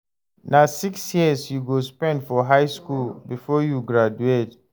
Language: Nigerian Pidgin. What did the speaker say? Na six years you go spend for high skool before you go graduate.